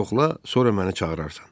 Yoxla, sonra məni çağırarsan.